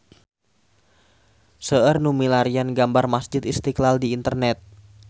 Seueur nu milarian gambar Masjid Istiqlal di internet